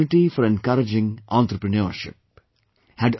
This is an opportunity for encouraging entrepreneurship